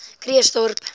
krugersdorp